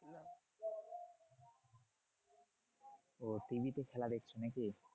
ওহ TV তে খেলা দেখছো নাকি?